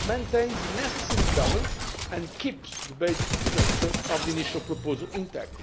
maintains a necessary balance and keeps the basic structure of the initial proposal intact.